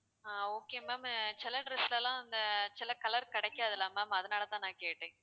ஆஹ் okay ma'am சில dress லாம் அந்த சில color கிடைக்காது இல்ல ma'am அதனாலதான் நான் கேட்டேன்